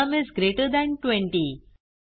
sum is greater than 20